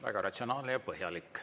Väga ratsionaalne ja põhjalik.